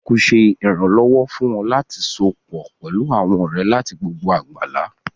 Facebook ṣé ìrànlọ́wọ́ fún ọ láti sopọ̀ pẹlú àwọn ọ̀rẹ́ láti gbogbo àgbálá